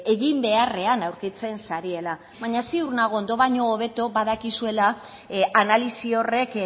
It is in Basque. egin beharrean aurkitzen zarela baina ziur nago ondo baina hobeto badakizuela analisi horrek